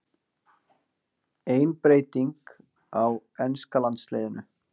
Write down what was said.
Ein breyting á enska landsliðinu